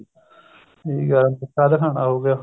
ਸਹੀ ਗੱਲ ਹੈ ਅਗੁੱਠਾ ਦਿਖਾਉਣਾ ਹੋਗਿਆ